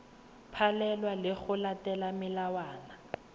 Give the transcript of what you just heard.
palelwa ke go latela melawana